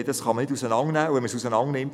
Das kann man nicht auseinandernehmen.